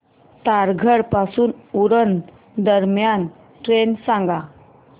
तारघर पासून उरण दरम्यान ट्रेन सांगा